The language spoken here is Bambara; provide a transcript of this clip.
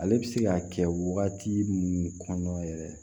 Ale bɛ se k'a kɛ waati minnu kɔnɔna yɛrɛ ye